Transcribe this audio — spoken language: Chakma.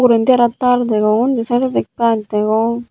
indi arow tar degong undi saetodi gaj degong.